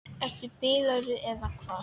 Ertu bilaður eða hvað?